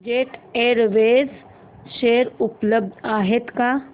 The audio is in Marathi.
जेट एअरवेज शेअर उपलब्ध आहेत का